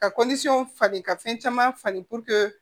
Ka fali ka fɛn caman falen